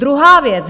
Druhá věc.